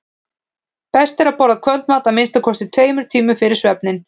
best er að borða kvöldmat að minnsta kosti tveimur tímum fyrir svefninn